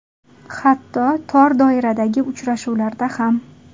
Hatto tor doiradagi uchrashuvlarda ham.